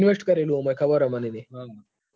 હા invest કરેલું હ ખબર છે મને એની